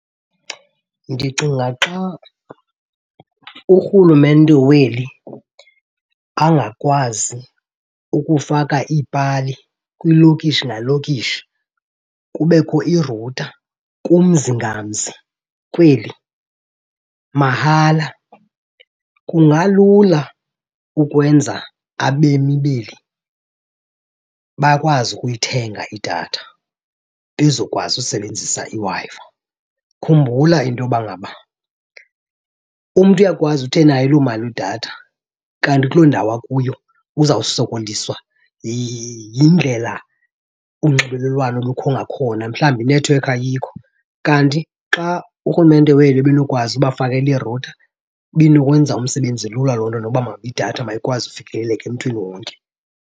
Ndicinga xa urhulumente weli angakwazi ukufaka iipali kwilokishi nalokishi kubekho irutha kumzi ngamzi kweli mahala, kungalula ukwenza abemi beli bakwazi ukuyithenga idatha bezokwazi usebenzisa iWi-Fi. Khumbula into yoba ngaba umntu uyakwazi uthi enayo loo mali yedatha kanti kuloo ndawo akuyo uzawusokoliswa yindlela unxibelelwano olukho ngakhona, mhlawumbi inethiwekhi ayikho. Kanti xa urhulumente weli ebenokwazi ubafakela irutha binokwenza umsebenzi lula loo nto noba ngaba idatha mayikwazi ukufikeleleka emntwini wonke.